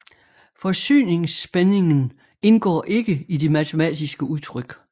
Forsyningsspændingen indgår ikke i de matematiske udtryk